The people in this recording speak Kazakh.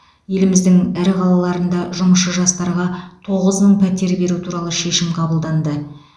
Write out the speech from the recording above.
еліміздің ірі қалаларында жұмысшы жастарға тоғыз мың пәтер беру туралы шешім қабылданды